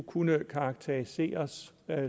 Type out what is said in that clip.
kunne karakteriseres